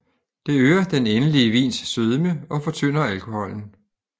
Det øger den endelige vins sødme og fortynder alkoholen